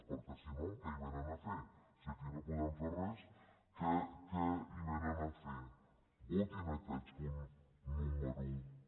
perquè si no què hi vénen a fer si aquí no podem fer res què hi vénen a fer votin aquest punt número un